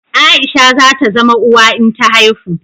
Aisha za ta zama uwa in ta haihu